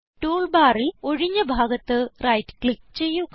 tool ബാറിൽ ഒഴിഞ്ഞ ഭാഗത്ത് റൈറ്റ് ക്ലിക്ക് ചെയ്യുക